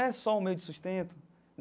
É só o meio de sustento?